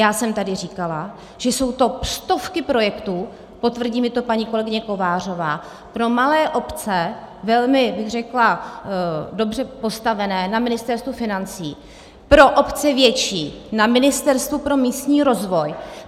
Já jsem tady říkala, že jsou to stovky projektů - potvrdí mi to paní kolegyně Kovářová - pro malé obce, velmi bych řekla dobře postavené, na Ministerstvu financí, pro obce větší na Ministerstvu pro místní rozvoj.